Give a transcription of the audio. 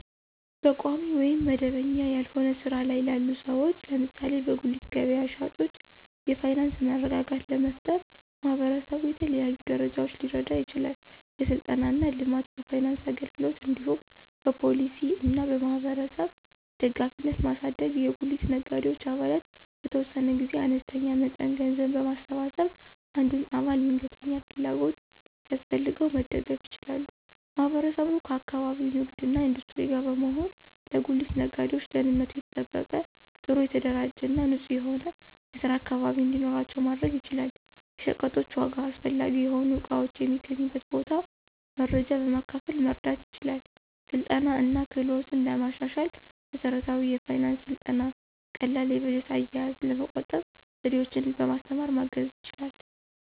በቋሚ ወይም መደበኛ ያልሆነ ሥራ ላይ ላሉ ሰዎች (ለምሳሌ በጉሊት ገበያ ሻጮች) የፋይናንስ መረጋጋት ለመፍጠር ማህበረሰቡ በተለያዩ ደረጃዎች ሊረዳ ይችላል። የሥልጠና እና ልማት፣ በፋይናንስ አገልግሎት እንዲሁም በፖሊሲ እና በማህበረሰብ ደጋፊነትን ማሳደግ። የጉሊት ነጋዴዎች አባላት በተወሰነ ጊዜ አነስተኛ መጠን ገንዘብ በማሰባሰብ አንዱን አባል ድንገተኛ ፍላጎት ሲያስፈልገው መደገፍ ይችላሉ። ማህበረሰቡ ከአካባቢው ንግድ እና ኢንዱስትሪ ጋር በመሆን ለጉሊት ነጋዴዎች ደህንነቱ የተጠበቀ፣ ጥሩ የተደራጀ እና ንጹህ የሆነ የስራ አካባቢ እንዲኖራቸው ማድረግ ይችላል። የሸቀጦች ዋጋ፣ አስፈላጊ የሆኑ እቃዎች የሚገኙበት ቦታ መረጃ በማካፈል መርዳት ይችላል። ስልጠና እና ክህሎትን ለማሻሻል መሠረታዊ የፋይናንስ ሥልጠና ቀላል የበጀት አያያዝ፣ ለመቆጠብ ዘዴዎችን በማስተማር ማገዝ ይችላል።